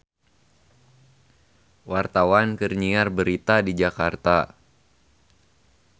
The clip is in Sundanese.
Wartawan keur nyiar berita di Jakarta